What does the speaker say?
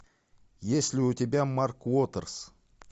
есть ли у тебя марк уотерс